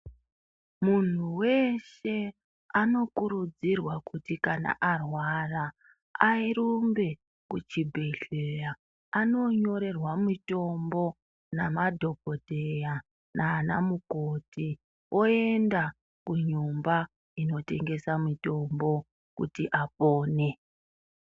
Muntu weshe anokurudzirwa kuti kana arwara arumbe kuchibhedhleya anonyorerwa mutombo nemadhokodheya nanamukoti oenda kunyumba inotengesa mutombo kuti apone.